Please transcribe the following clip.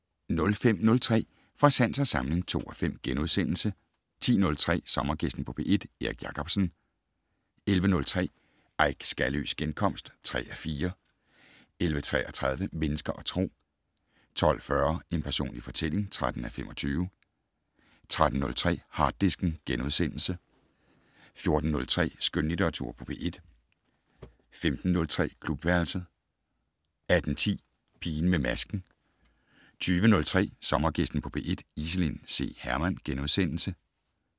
05:03: Fra sans og samling (2:5)* 10:03: Sommergæsten på P1: Erik Jacobsen 11:03: Eik Skaløes genkomst (3:4) 11:33: Mennesker og Tro 12:40: En personlig fortælling (13:25) 13:03: Harddisken * 14:03: Skønlitteratur på P1 * 15:03: Klubværelset 18:10: Pigen med masken 20:03: Sommergæsten på P1: Iselin C. Hermann *